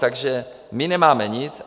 Takže my nemáme nic.